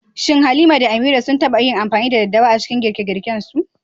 Shin Halima da Amira sun taɓa yin amfani da daddawa a girke-girkensu?